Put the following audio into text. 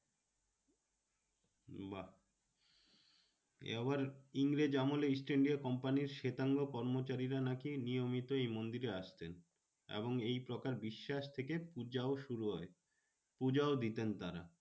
বাহ্ এ আবার ইংরেজ আমলে ইস্ট ইন্ডিয়া কোম্পানির শেতাঙ্গ কর্মচারীরা নাকি নিয়মিত এই মন্দিরে আসতেন এবং এই প্রকার বিশ্বাস থেকে পূজাও শুরু হয়। পূজাও দিতেন তারা।